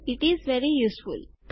it is very useful